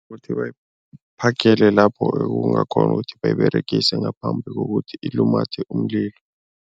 Kuthi bayiphagele lapho ekungakghona ukuthi bayiberegise ngaphambi kokuthi ilumathe umlilo.